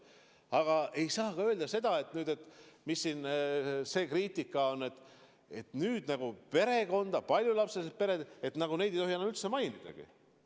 Aga ei saa ka öelda seda, et – mis see kriitika ongi – nüüd nagu paljulapselisi peresid ei tohi üldse mainidagi.